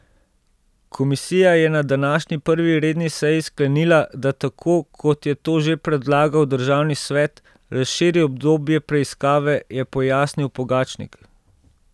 Komisija je na današnji prvi redni seji sklenila, da tako, kot je to že predlagal državni svet, razširi obdobje preiskave, je pojasnil Pogačnik.